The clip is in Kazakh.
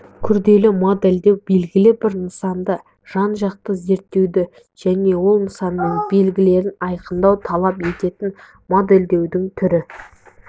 күрделі модельдеу белгілі бір нысанды жан-жақты зерттеуді және ол нысанның белгілерін айқындауды талап ететін модельдеудің түрі